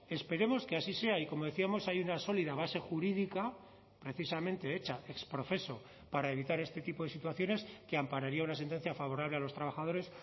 esperemos que así sea y como decíamos hay una sólida base jurídica precisamente hecha ex profeso para evitar este tipo de situaciones que ampararía una sentencia favorable a los trabajadores